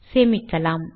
சேமிக்கலாம்